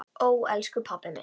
Ó, elsku pabbi minn.